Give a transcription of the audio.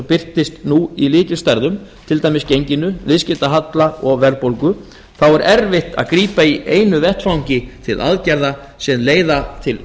birtist nú í lykilstærðum til dæmis genginu viðskiptahalla og verðbólgu þá er erfitt að grípa í einu vetfangi til aðgerða sem leiða til